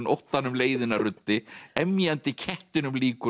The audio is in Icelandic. óttanum leiðina ruddi emjandi kettinum líkur